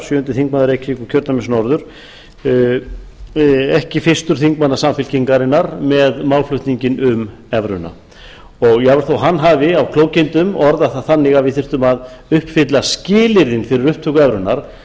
sjöundi þingmaður reykjavíkurkjördæmis norður ekki fyrstur þingmanna samfylkingarinnar með málflutninginn um evruna jafnvel þó að hann hafi af klókindum orðað það þannig að við þyrftum að uppfylla skilyrðin fyrir upptöku evrunnar